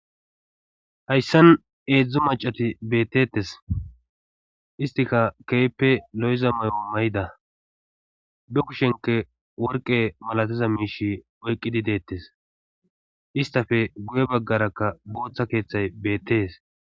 hayssan heedzdzo macati beettetes istika keeyppe lo'iza mayo mayida be kushenke worqe malatiza miish oyqqidi deettes istafe guye baggarakka booththa keeththay beettees